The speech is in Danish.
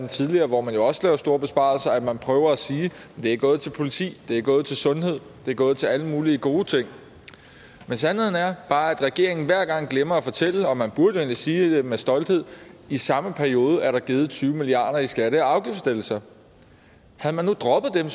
tidligere hvor man jo også laver store besparelser at man prøver at sige det er gået til politi det er gået til sundhed det er gået til alle mulige gode ting men sandheden er bare at regeringen hver gang glemmer at fortælle og man burde egentlig sige det med stolthed i samme periode er der givet tyve milliard kroner i skatte og afgiftslettelser havde man nu droppet dem